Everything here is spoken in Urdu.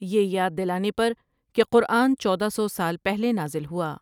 یہ یاد دلانے پرکہ کہ قرآن چودہ سو سال پہلے نازل ہوا ۔